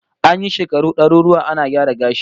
An yi shekaru daruruwa ana gyara gashi